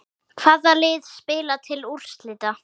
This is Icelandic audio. Hvaða lið spila til úrslita?